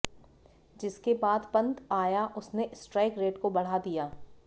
जिसके बाद पंत आया उसने स्ट्राइक रेट को बढ़ा दिया